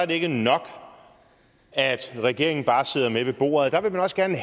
det ikke nok at regeringen bare sidder med ved bordet der vil man også gerne